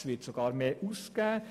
Es wird sogar mehr ausgegeben.